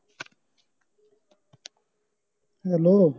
hello